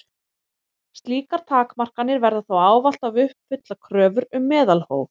Slíkar takmarkanir verða þó ávallt að uppfylla kröfur um meðalhóf.